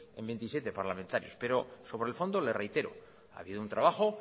en veintisiete parlamentarios pero sobre el fondo le reitero ha habido un trabajo